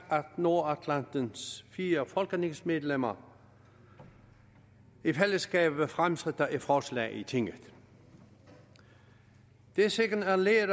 nordatlantens fire folketingsmedlemmer i fællesskab fremsætter et forslag i tinget det signalerer